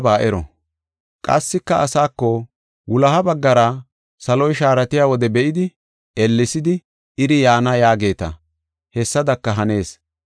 Qassika asaako, “Wuloha baggara saloy shaaratiya wode be7idi, ellesidi, ‘Iri yaana’ yaageeta, hessadaka hanees.